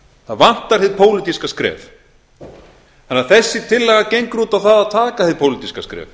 það vantar hið pólitíska skref þannig að þessi tillaga gengur út á það að taka hið pólitíska skref